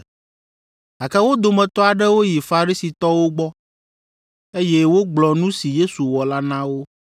Gake wo dometɔ aɖewo yi Farisitɔwo gbɔ, eye wogblɔ nu si Yesu wɔ la na wo.